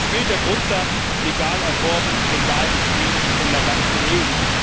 Es gilt der Grundsatz legal erworben, legal gestreamt in der ganzen EU.